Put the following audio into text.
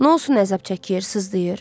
Nə olsun əzab çəkir, sızıldayır?